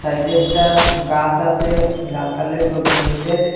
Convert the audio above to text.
সাইডে একটা গাস আসে লাল কালারের টবের মইদ্যে।